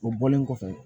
O bɔlen kɔfɛ